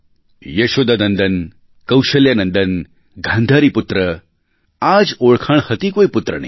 યશોદાનંદન કૌશલ્યાનંદન ગાંધારીપુત્ર આ જ ઓળખાણ હતી કોઈ પુત્રની